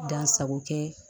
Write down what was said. Dan sago kɛ